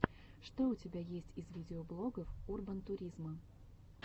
что у тебя есть из видеоблогов урбантуризма